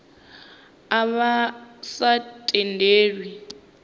a vha a sa tendelwi